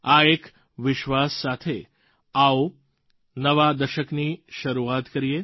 આ એક વિશ્વાસ સાથે આવો નવા દશકની શરૂઆત કરીએ